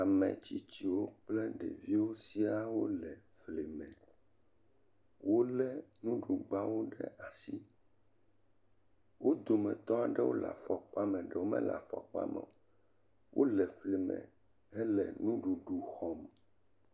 Ametsitsiwo kple ɖeviwo siaa wole fli me, wole nuɖugbawo ɖe asi. Wo dometɔ aɖewo le afɔkpa me ɖeewo mele afɔkpa me o. Wole fli me hele nuɖuɖu xɔm.